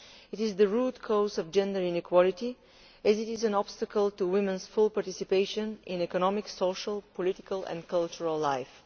It is the root cause of gender inequality and it is an obstacle to women's full participation in economic, social, political and cultural life.